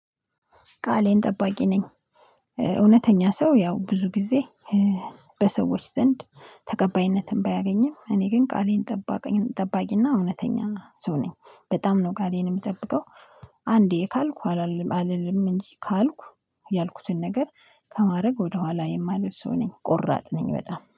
ቃሌን ጠባቂ ነኝ። እውነተኛ ሰው ያው ብዙ ጊዜ በሰዎች ዘንድ ተቀባይነትን ባያገኝም እኔ ግን ቃሌን ጠባቂና እውነተኛ ሰው ነኝ። በጣም ነው ቃሌን የምጠብቀው አንዴ ካልኩ አልልም። እንጂ ካልኩ ያልኩትን ነገር ከማድረግ ወደኋላ የማልል ሰው ነኝ ቆራጥ ነኝ በጣም